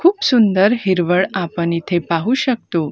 खूप सुंदर हिरवळ आपण इथे पाहू शकतो.